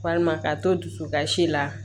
Walima ka to dusukasi la